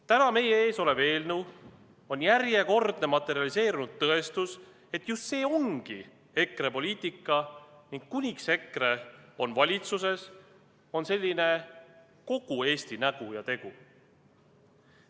Täna meie ees olev eelnõu on järjekordne materialiseerunud tõestus, et just see ongi EKRE poliitika ning kuniks EKRE on valitsuses, on selline kogu Eesti nägu ja tegu.